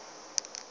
yeo e be e le